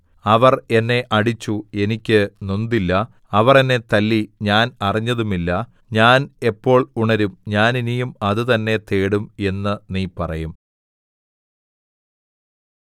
അവർ എന്നെ അടിച്ചു എനിക്ക് നൊന്തില്ല അവർ എന്നെ തല്ലി ഞാൻ അറിഞ്ഞതുമില്ല ഞാൻ എപ്പോൾ ഉണരും ഞാൻ ഇനിയും അത് തന്നെ തേടും എന്ന് നീ പറയും